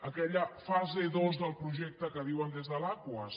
aquella fase dos del projecte que diuen des de l’aquas